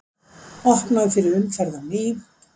Opnað fyrir umferð á ný